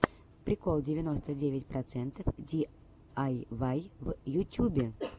прикол девяносто девять процентов диайвай в ютюбе